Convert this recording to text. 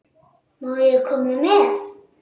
Má ég koma með?